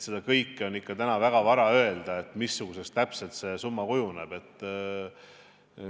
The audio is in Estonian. Seda, missuguseks täpselt see summa kujuneb, on täna ikka väga vara öelda.